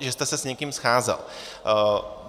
jste se s někým scházel.